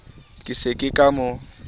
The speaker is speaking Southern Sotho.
ke se ke ka mo